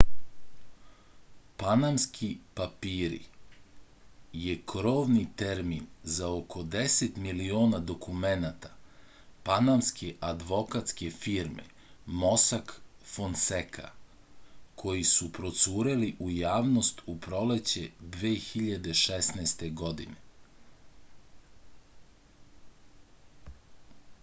panamski papiri je krovni termin za oko 10 miliona dokumenata panamske advokatske firme mosak fonseka koji su procureli u javnost u proleće 2016. godine